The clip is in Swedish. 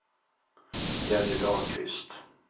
Jenny Dahlqvist